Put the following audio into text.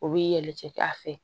O b'i yɛlɛ a fɛ